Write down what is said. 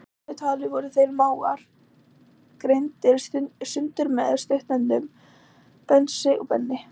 Í daglegu tali voru þeir mágar greindir sundur með stuttnefnunum Bensi og Benni.